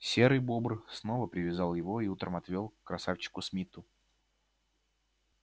серый бобр снова привязал его и утром отвёл к красавчику смиту